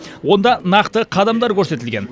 онда нақты қадамдар көрсетілген